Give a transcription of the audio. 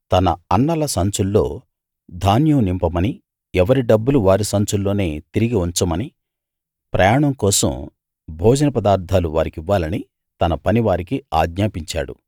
తన అన్నల సంచుల్లో ధాన్యం నింపమనీ ఎవరి డబ్బులు వారి సంచుల్లోనే తిరిగి ఉంచమనీ ప్రయాణం కోసం భోజనపదార్ధాలు వారికివ్వాలనీ తన పనివారికి ఆజ్ఞాపించాడు